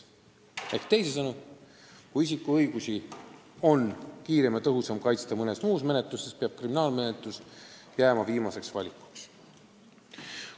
Ehk teisisõnu, kui isiku õigusi saab kiiremini ja tõhusamalt kaitsta mõne muu menetluse abil, siis peab kriminaalmenetlus jääma viimaseks valikuks.